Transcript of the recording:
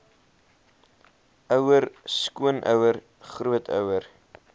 ouer skoonouer grootouer